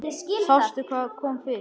Sástu hvað kom fyrir?